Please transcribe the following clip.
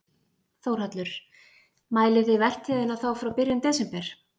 Þórhallur: Mælið þið vertíðina þá frá byrjun desember?